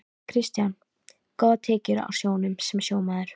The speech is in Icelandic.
Kristján: Góðar tekjur á sjónum sem sjómaður?